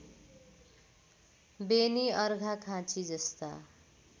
Beni अर्घाखाँचीजस्ता